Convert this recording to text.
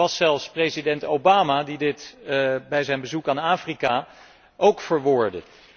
Het was zelfs president Obama, die dit bij zijn bezoek aan Afrika ook verwoordde.